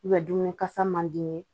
dumuni kasa man di